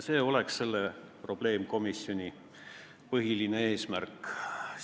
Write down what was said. See oleks selle probleemkomisjoni põhiline eesmärk.